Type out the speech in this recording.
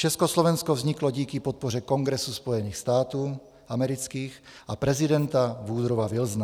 Československo vzniklo díky podpoře Kongresu Spojených států amerických a prezidenta Woodrowa Wilsona.